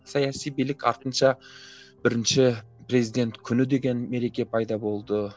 саяси билік артынша бірінші президент күні деген мереке пайда болды